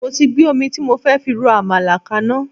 Mo ti gbé omi tí mo fẹ́ fi ro àmàlà kaná